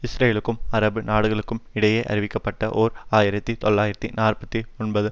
இஸ்ரேலுக்கும் அரபு நாடுகளுக்குமிடையே அறிவிக்கப்பட்ட ஓர் ஆயிரத்தி தொள்ளாயிரத்து நாற்பத்தி ஒன்பது